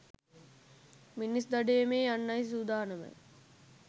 මිනිස් දඩයමේ යන්නයි සුදානම